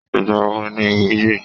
Ìgbà wo ni ìwúye?